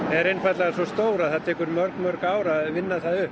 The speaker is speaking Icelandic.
er einfaldlega svo stór að það tekur mörg mörg ár að vinna það upp